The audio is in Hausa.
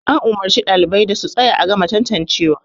an umarci ɗalibai da su tsaya a gama tantancewa